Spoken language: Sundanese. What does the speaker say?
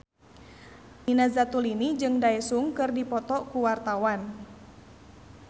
Nina Zatulini jeung Daesung keur dipoto ku wartawan